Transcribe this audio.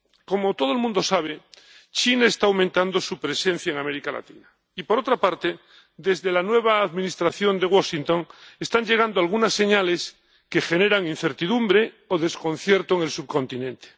Como todo el mundo sabe, China está aumentando su presencia en América Latina y, por otra parte, desde la nueva Administración de Washington están llegando algunas señales que generan incertidumbre o desconcierto en el subcontinente.